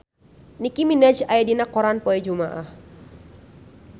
Nicky Minaj aya dina koran poe Jumaah